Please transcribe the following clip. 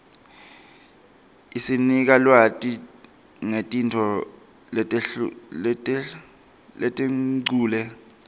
isinika lwati nqetinfo letenqule